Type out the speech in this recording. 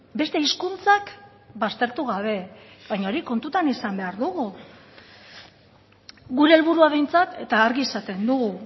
beste hizkuntzak baztertu gabe baina hori kontutan izan behar dugu gure helburua behintzat eta argi esaten dugu